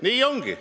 Nii ongi.